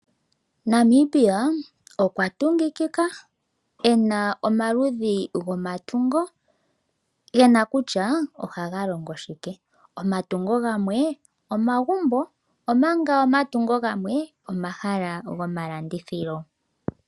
Namibia okwa tungikika ena omaludhi gomatungo, gena kusha ohaga longo shike. Omatungo gamwe omagumbo, omanga omatungo gamwe omahala gomalandithilo.